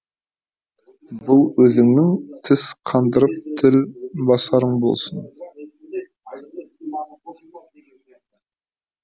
бұл өзіңнің тіс қандырып тіл басарың болсын